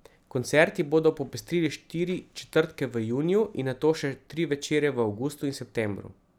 Koncerti bodo popestrili štiri četrtke v juniju in nato še tri večere v avgustu in septembru.